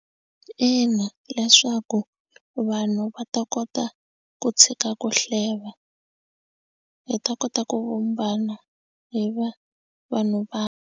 Ina, leswaku vanhu va ta kota ku tshika ku hleva hi ta kota ku vumbana hi va vanhu va.